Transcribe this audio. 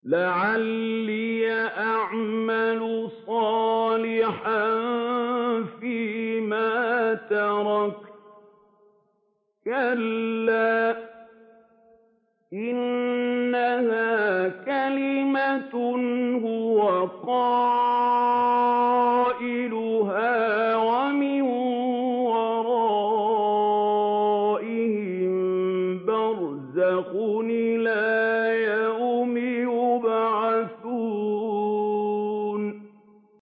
لَعَلِّي أَعْمَلُ صَالِحًا فِيمَا تَرَكْتُ ۚ كَلَّا ۚ إِنَّهَا كَلِمَةٌ هُوَ قَائِلُهَا ۖ وَمِن وَرَائِهِم بَرْزَخٌ إِلَىٰ يَوْمِ يُبْعَثُونَ